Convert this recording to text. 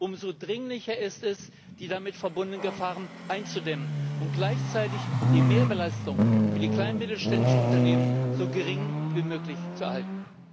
Umso dringlicher ist es, die damit verbunden Gefahren einzudämmen und gleichzeitig die Mehrbelastung für die kleinen und mittelständischen Unternehmen so gering wie möglich zu halten.